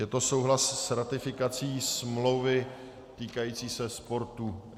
Je to souhlas s ratifikací smlouvy týkající se sportu.